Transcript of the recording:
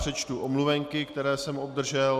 Přečtu omluvenky, které jsem obdržel.